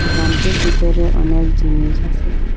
দোকানটির ভিতরে অনেক জিনিস আসে।